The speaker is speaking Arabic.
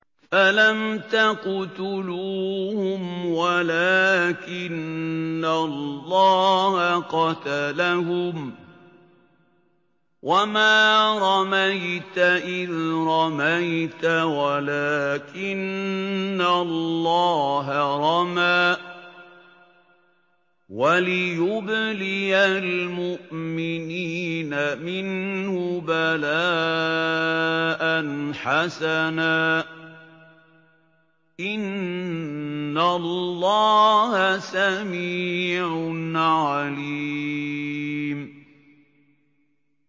فَلَمْ تَقْتُلُوهُمْ وَلَٰكِنَّ اللَّهَ قَتَلَهُمْ ۚ وَمَا رَمَيْتَ إِذْ رَمَيْتَ وَلَٰكِنَّ اللَّهَ رَمَىٰ ۚ وَلِيُبْلِيَ الْمُؤْمِنِينَ مِنْهُ بَلَاءً حَسَنًا ۚ إِنَّ اللَّهَ سَمِيعٌ عَلِيمٌ